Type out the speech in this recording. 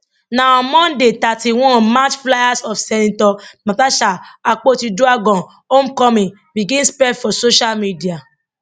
na on monday thirty one march flyers of senator natasha akpotiuduaghan homecoming begin spread for social media